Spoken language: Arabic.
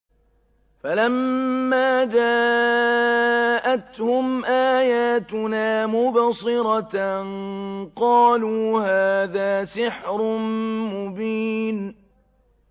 فَلَمَّا جَاءَتْهُمْ آيَاتُنَا مُبْصِرَةً قَالُوا هَٰذَا سِحْرٌ مُّبِينٌ